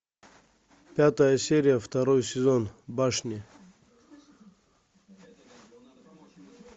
пятая серия второй сезон башни